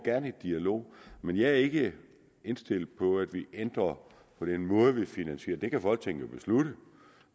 i dialog men jeg er ikke indstillet på at vi ændrer den måde vi finansierer på det kan folketinget jo beslutte